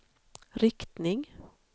riktning